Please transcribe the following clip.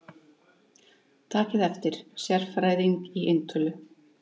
Takið eftir: Sérfræðing í eintölu.